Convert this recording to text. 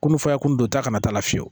Komi fɛn kun don ta kana t'a la fiyewu